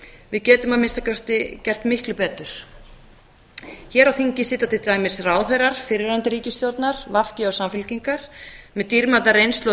við getum að minnsta kosti gert miklu betur hér á þingi sitja til dæmis ráðherrar fyrrverandi ríkisstjórnar v g og samfylkingar með dýrmæta reynslu og